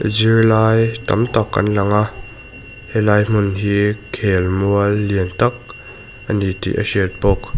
zirlai tam tak an langa helai hmun hi khelmual lian tak ani tih a hriat bawk.